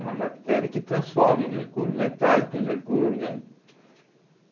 É uma bactéria que transforma o mercúrio metálico em mercúrio orgânico.